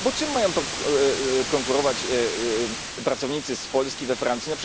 Bo czym mają konkurować pracownicy z Polski we Francji?